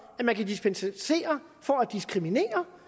at man kan dispensere for at diskriminere